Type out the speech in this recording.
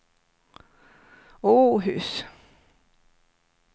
Åhus